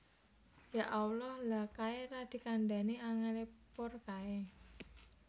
Ya Allah lha kae ra dikandani angel e poor kae